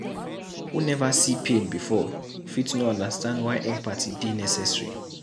Who neva see pain before fit no understand why empathy dey necessary.